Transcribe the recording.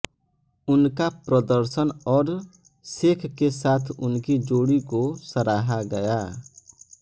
उनका प्रदर्शन और शेख के साथ उनकी जोड़ी को सराहा गया